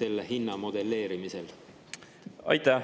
selle hinna modelleerimisel?